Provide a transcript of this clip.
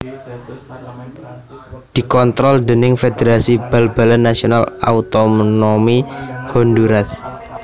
Dikontrol déning Federasi Bal balan Nasional Autonomi Honduras